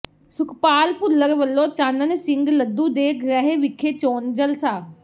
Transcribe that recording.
ਸੁਖਪਾਲ ਭੁੱਲਰ ਵੱਲੋਂ ਚਾਨਣ ਸਿੰਘ ਲੱਧੂ ਦੇ ਗ੍ਰਹਿ ਵਿਖੇ ਚੋਣ ਜਲਸਾ